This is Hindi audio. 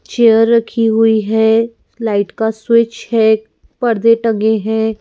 चेयर रखी हुई है लाइट का स्विच है पर्दे टंगे हैं।